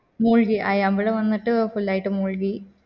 മുഴുകി ആ അമ്പല വന്നിട്ട് full ആയിട്ട് മുഴുകി